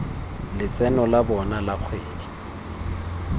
letseno la bona la kgwedi